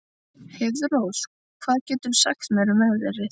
Heiðrós, hvað geturðu sagt mér um veðrið?